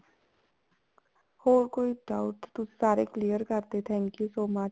ਹੋਰ ਕੋਈ doubt ਤੁਸੀਂ ਸਾਰੇ clear ਕਰਤੇ thank you so much